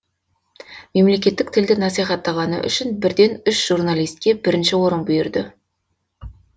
мемлекеттік тілді насихаттағаны үшін бірден үш журналиске бірінші орын бұйырды